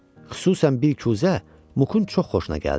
Xüsusən bir kuzə Muqun çox xoşuna gəldi.